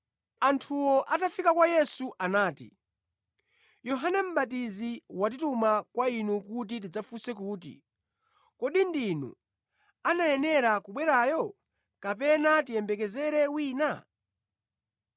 Anthuwo atafika kwa Yesu anati, “Yohane Mʼbatizi watituma kwa Inu kuti tidzafunse kuti, ‘Kodi ndinu anayenera kubwerayo, kapena tiyembekezere wina?’ ”